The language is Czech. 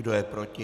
Kdo je proti?